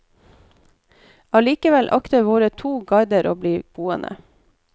Allikevel akter våre to guider å bli boende.